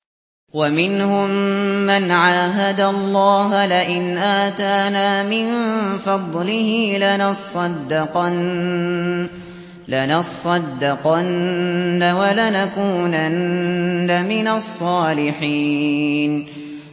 ۞ وَمِنْهُم مَّنْ عَاهَدَ اللَّهَ لَئِنْ آتَانَا مِن فَضْلِهِ لَنَصَّدَّقَنَّ وَلَنَكُونَنَّ مِنَ الصَّالِحِينَ